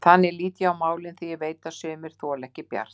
Þannig lít ég á málin, því ég veit að sumir þola ekki Bjart.